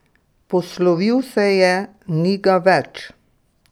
Poslovil se je, ni ga več!